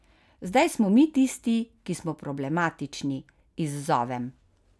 Zdaj smo mi tisti, ki smo problematični, izzovem.